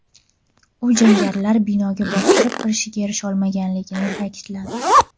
U jangarilar binoga bostirib kirishga erisha olmaganligini ta’kidladi.